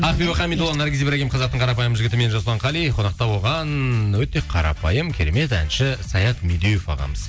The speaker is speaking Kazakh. ақбибі хамидолла наргиз ибрагим қазақтың қарапайым жігіті мен жасұлан қали қонақта болған өте қарапайым керемет әнші саят медеуов ағамыз